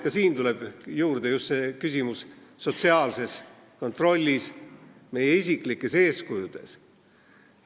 Ka siin tuleb juurde just see sotsiaalse kontrolli, meie isiklike eeskujude küsimus.